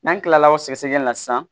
N'an kilala o sɛgɛsɛgɛli la sisan